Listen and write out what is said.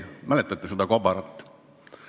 Mäletate seda kobarat?